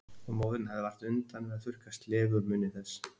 Og móðirin hafði vart undan að þurrka slefið úr munni þess.